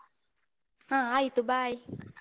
ಹ ಆಯ್ತು bye.